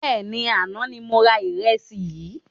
Bẹ́ẹ̀ni, àná ni mo ra ìrẹsì yìí